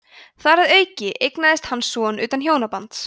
þar að auki eignaðist hann son utan hjónabands